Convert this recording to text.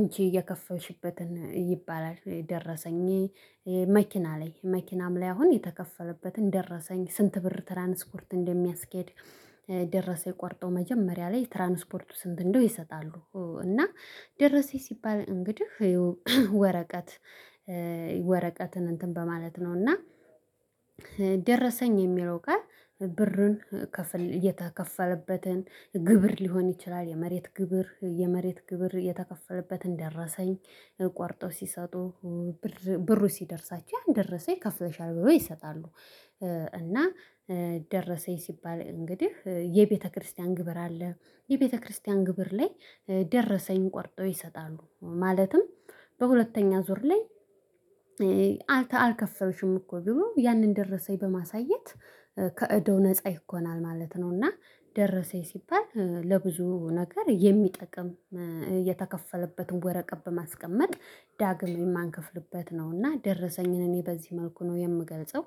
እኪ የከፈልሽበትን ይባላል ደረሰኝ። መኪና ላይ መኪናም ላይ አሁን የተከፈለበትን ደረሰኝ ስንት ብር ትራንስፖርት እንደሚያስኬድ። ደረሰ ቆርጠው መጀመሪያ ላይ ትራንስፖርቱ ስንት እንደው ይሰጣሉ። እና ደረሴ ሲባል እንግዲህ ወረቀት ወረቀትን እንትን በማለት ነው። እና ደረሰኝ የሚለው ቃል ብርን እየተከፈለበትን ግብር ሊሆን ይችላል የመሬት ግብር የመሬት ግብር የተከፈለበትን ደረሰኝ። ቆርጠው ሲሰጡ ብሩ ሲደርሳቸው ያን ደረሰኝ ከፍለሻል ብሎ ይሰጣሉ። እና ደረሰኝ ሲባል እንግዲህ የቤተክርስቲያን ግብር አለ። የቤተክርስቲያን ግብር ላይ ደረሰኝ ቆርጠው ይሰጣሉ። ማለትም በሁለተኛ ዙር ላይ አልከፈልሽም እኮ ቢሆን ያንን ደረሰኝ በማሳየት ከእዳው ነፃ ይኮናል ማለት ነው። እና ደረሰኝ ሲባል ለብዙ ነገር የሚጠቅም የተከፈለበትን ወረቀት በማስቀመጥ ዳግም የማንከፍልበት ነውና ደረሰኝን እኔ በዚህ መልኩ ነው የምገልጸው